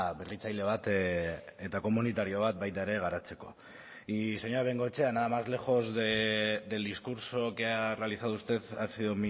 berritzaile bat eta komunitario bat baita ere garatzeko y señora bengoechea nada más lejos del discurso que ha realizado usted ha sido